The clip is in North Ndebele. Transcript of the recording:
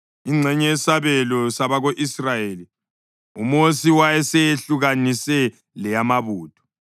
Ingxenye yesabelo sabako-Israyeli uMosi wayeseyehlukanise leyamabutho,